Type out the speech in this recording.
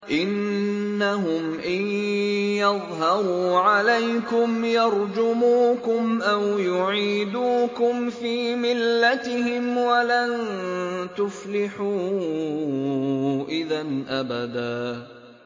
إِنَّهُمْ إِن يَظْهَرُوا عَلَيْكُمْ يَرْجُمُوكُمْ أَوْ يُعِيدُوكُمْ فِي مِلَّتِهِمْ وَلَن تُفْلِحُوا إِذًا أَبَدًا